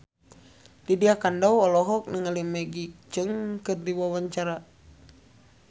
Lydia Kandou olohok ningali Maggie Cheung keur diwawancara